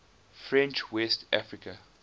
french west africa